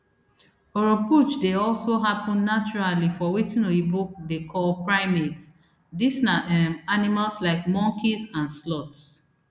oropouche dey also happun naturally for wetin oyibo dey call primates dis na um animals like monkeys and sloths